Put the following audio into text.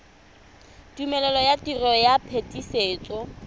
tumelelo ya tiro ya phetisetso